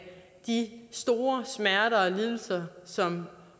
de store smerter og lidelser som